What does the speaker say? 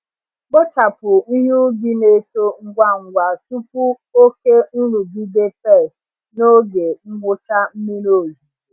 Kpochapụ ihe ubi na-eto ngwa ngwa tupu oke nrụgide pests n’oge ngwụcha mmiri ozuzo.